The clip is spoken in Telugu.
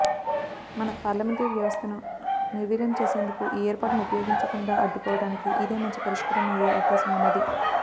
మన పార్లమెంటరీ వ్యవస్థను నిర్వీర్యంచేసేందుకు ఈ ఏర్పాటును ఉపయోగించకుండా అడ్డుకోవటానికి ఇదే మంచి పరిష్కారం అయ్యే అవకాశమున్నది